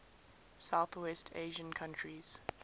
southwest asian countries